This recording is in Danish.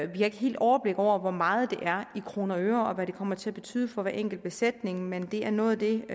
vi har ikke helt overblik over hvor meget det er i kroner og øre og hvad det kommer til at betyde for hver enkelt besætning men det er noget af det